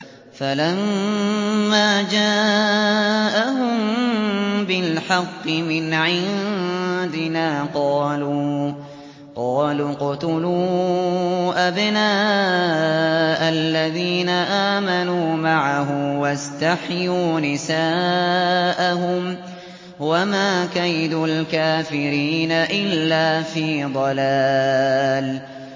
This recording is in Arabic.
فَلَمَّا جَاءَهُم بِالْحَقِّ مِنْ عِندِنَا قَالُوا اقْتُلُوا أَبْنَاءَ الَّذِينَ آمَنُوا مَعَهُ وَاسْتَحْيُوا نِسَاءَهُمْ ۚ وَمَا كَيْدُ الْكَافِرِينَ إِلَّا فِي ضَلَالٍ